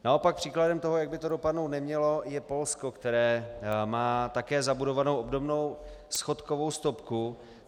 Naopak příkladem toho, jak by to dopadnout nemělo, je Polsko, které má také zabudovanou obdobnou schodkovou stopku.